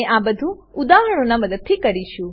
આપણે આ બધુ ઉદાહરણોનાં મદદથી કરીશું